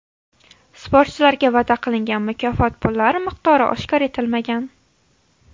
Sportchilarga va’da qilingan mukofot pullari miqdori oshkor etilmagan.